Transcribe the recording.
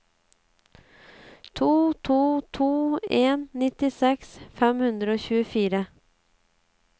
to to to en nittiseks fem hundre og tjuefire